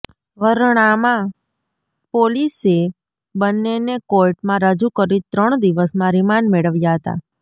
વરણામા પોલીસે બંનેને કોર્ટમાં રજૂ કરી ત્રણ દિવસના રિમાન્ડ મેળવ્યાં હતાં